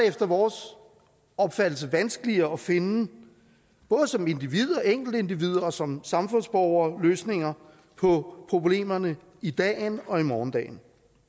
efter vores opfattelse vanskeligere at finde både som enkeltindivider og som samfundsborgere løsninger på problemerne i dagen og i morgendagen